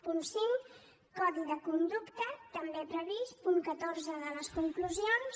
punt cinc codi de conducta també previst punt catorze de les conclusions